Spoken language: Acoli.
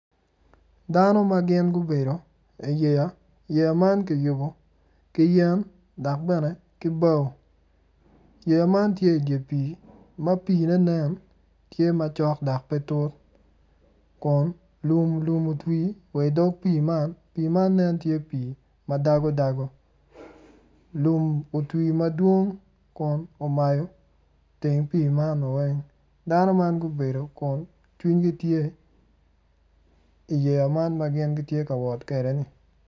Dano ma gubedo iyeya yeya man kiyubo ki yen dok bene ki bao yeya man tye idye pii ma piine nen macok dok pe tut kun lumlum otwi wa idog pii man pii man nen tye pii ma dagodago lum otwi madwong kun omayo teng pii mano weng dano man gubedo kun cwingi tye iyeya man ma gin gitye ka wot kwede-ni.